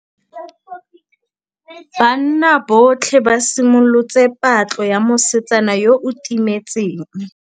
Banna botlhê ba simolotse patlô ya mosetsana yo o timetseng.